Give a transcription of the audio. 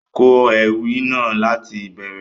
Kọ Ewì náà lati ìbẹrẹ!